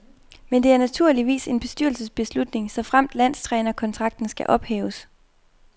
Men det er naturligvis en bestyrelsesbeslutning, såfremt landstrænerkontrakten skal ophæves.